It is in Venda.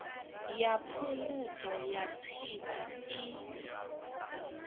ya phungudzo ya tsiku i